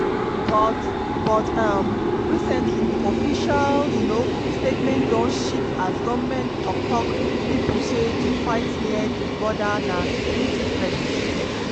but but um recently di official um statement don shift as goment tok-tok pipo say to fight near di border na security threat.